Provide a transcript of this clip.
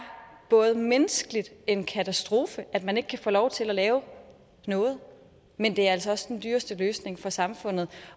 menneskeligt en katastrofe at man ikke kan få lov til at lave noget men det er altså også den dyreste løsning for samfundet